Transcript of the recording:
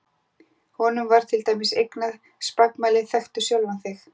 Honum var til dæmis eignað spakmælið Þekktu sjálfan þig!